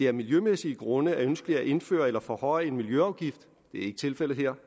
af miljømæssige grunde er ønskeligt at indføre eller forhøje en miljøafgift det er ikke tilfældet her